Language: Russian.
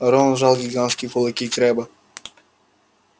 рон сжал гигантские кулаки крэбба